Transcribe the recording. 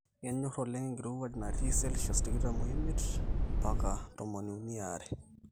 enhor oleng enkirowuaj natii 25 mbaka 320c